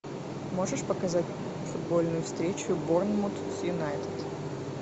можешь показать футбольную встречу борнмут с юнайтед